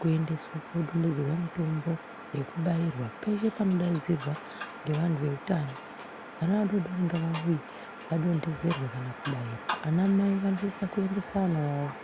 kuendeswa kodondedzerwa mutombo nekubairwa peshe panodaidzwa ngevantu veutano kuti vana vadodori ngavauye vadondedzerwe kana kubairwa ana mai vanosisa kuendese vana vavo.